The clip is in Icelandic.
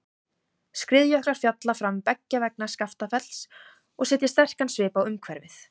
Skriðjöklar falla fram beggja vegna Skaftafells og setja sterkan svip á umhverfið.